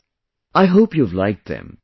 Friends, I hope you have liked them